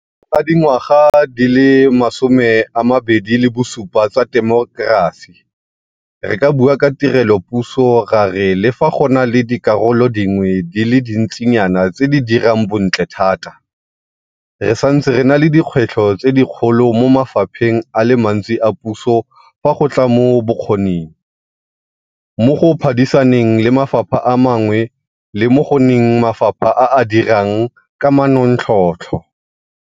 Ga dingwaga di le 27 tsa temokerasi, re ka bua ka tirelopuso ra re le fa go na le dikarolo dingwe di le dintsi nyana tse di dirang bontle thata, re santse re na le dikgwetlho tse dikgolo mo mafapheng a le mantsi a puso fa go tla mo bokgoning, mo go phadisaneng le mafapha a mangwe le mo go nneng mafapha a a dirang ka manontlhotlho.